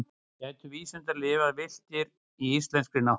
gætu vísundar lifað villtir í íslenskri náttúru